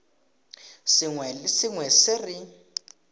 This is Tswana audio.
sengwe le sengwe se re